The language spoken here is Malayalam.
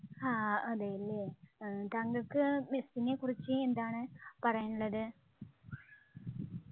ആഹ് അതെയല്ലേ താങ്കൾക്ക് മെസ്സിനെക്കുറിച്ച് എന്താണ് പറയാനുള്ളത്